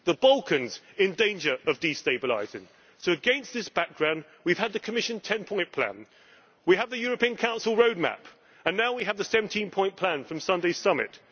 The Balkans are in danger of destabilizing, so against this background we have had the Commission 10 point plan, we have the European Council roadmap and now we have the 17 point plan from Sunday's summit.